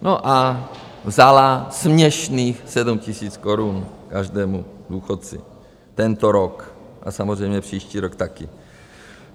No a vzala směšných 7 000 korun každému důchodci tento rok a samozřejmě příští rok taky.